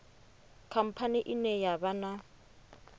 khamphani ine ya vha na